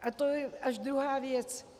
A to je až druhá věc.